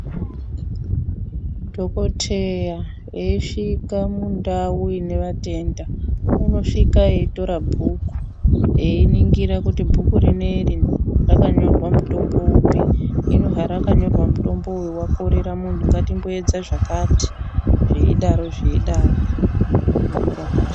Dhokoteya eyisvika mundau ine vatenda unosvika eitora bhuku einingira kuti bhuku rineri rakanyorwa mutombo upi hino harakanyorwa mutombo uyu wakorera mundu ngatimboedza zvakati zveidaro zveidaro einyora pashi.